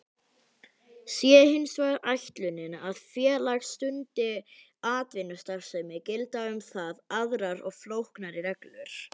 Sé hins vegar ætlunin að félag stundi atvinnustarfsemi gilda um það aðrar og flóknari reglur.